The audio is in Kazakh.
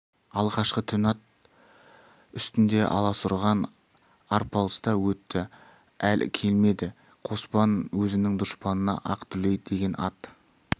алғашқы түн ат үстінде аласұрған арпалыста өтті әлі келмеді қоспан өзінің дұшпанына ақ дүлей деген ат